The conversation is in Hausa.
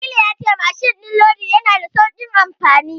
Jamilu ya ce mashin din lodi yana da saukin amfani.